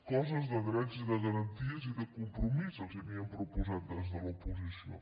coses de drets i de garanties i de compromís els havíem proposat des de l’oposició